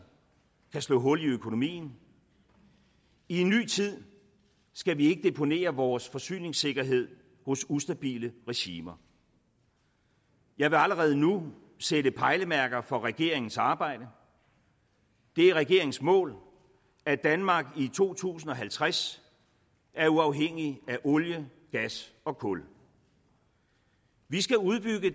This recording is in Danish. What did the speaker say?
kan slå hul i økonomien i en ny tid skal vi ikke deponere vores forsyningssikkerhed hos ustabile regimer jeg vil allerede nu sætte pejlemærker for regeringens arbejde det er regeringens mål at danmark i to tusind og halvtreds er uafhængigt af olie gas og kul vi skal udbygge